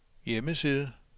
hjemmeside